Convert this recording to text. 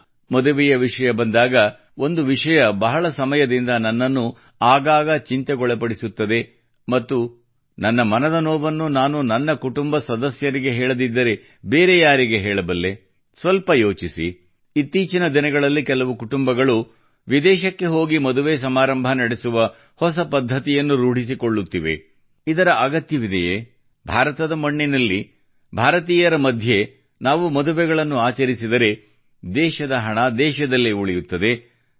ಹಾಂ ಮದುವೆಯ ವಿಷಯ ಬಂದಾಗ ಒಂದು ವಿಷಯವು ಬಹಳ ಸಮಯದಿಂದ ನನ್ನನ್ನು ಆಗಾಗ ಚಿಂತೆಗೊಳಪಡಿಸುತ್ತದೆ ಮತ್ತು ನನ್ನ ಮನದ ನೋವನ್ನು ನಾನು ನನ್ನ ಕುಟುಂಬ ಸದಸ್ಯರಿಗೆ ಹೇಳದಿದ್ದರೆ ಬೇರೆ ಯಾರಿಗೆ ಹೇಳಬಲ್ಲೆ ಸ್ವಲ್ಪ ಯೋಚಿಸಿ ಇತ್ತೀಚಿನ ದಿನಗಳಲ್ಲಿ ಕೆಲವು ಕುಟುಂಬಗಳು ವಿದೇಶಕ್ಕೆ ಹೋಗಿ ಮದುವೆ ಸಮಾರಂಭ ನಡೆಸುವ ಹೊಸ ಪದ್ಧತಿಯನ್ನು ರೂಢಿಸಿಕೊಳ್ಳುತ್ತಿದ್ದಾರೆ ಇದರ ಅಗತ್ಯವಿದೆಯೇ ಭಾರತದ ಮಣ್ಣಿನಲ್ಲಿ ಭಾರತೀಯರ ಮಧ್ಯೆ ನಾವು ಮದುವೆಗಳನ್ನು ಆಚರಿಸಿದರೆ ದೇಶದ ಹಣವು ದೇಶದಲ್ಲಿ ಉಳಿಯುತ್ತದೆ